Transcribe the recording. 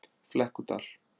Flekkudal